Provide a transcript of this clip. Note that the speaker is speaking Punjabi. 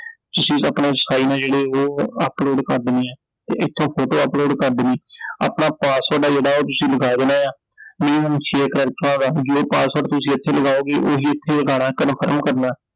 ਤੁਸੀਂ ਆਪਣੇ sign ਆ ਜਿਹੜੇ ਉਹ upload ਕਰ ਦੇਣੇ ਆ ਤੇ ਇਥੋਂ ਫੋਟੋ upload ਕਰ ਦੇਣੀ I ਆਪਣਾ ਪਾਸਵਰਡ ਆ ਜਿਹੜਾ ਉਹ ਤੁਸੀਂ ਲੱਖਾ ਦੇਣਾ ਏ ਆI mean share ਕਰਤਾ ਮਤਲਬ password ਤੁਸੀਂ ਇਥੇ ਲਗਾਓਗੇ, ਓਹੀ ਇਥੇ ਲਗਾਣੈ confirm ਕਰਨਾ I